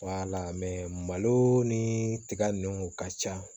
malo ni tiga ninnu ka ca